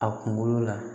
A kunkolo la